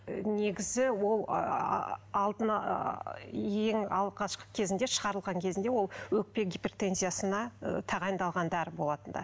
негізі ол ааа ең алғашқы кезінде шығарылған кезінде ол өкпе гипертензиясына ы тағайындалған дәрі болатын ды